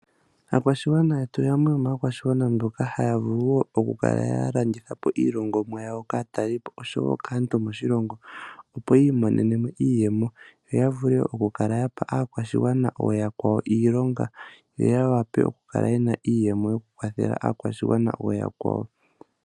Aakwashigwana yetu yamwe yomaakwashigwana mboka haya vulu woo oku kala ya landithapo iilongomwa yawo kaatalelipo osho woo kaantu moshilongo. Opo yi imonene mo iiyemo opo ya vule oku kala ya pa aakwashigwana iilonga yo ya wape oku kala iiyemo yoku kwathela aakwashigwana ooyakwawo.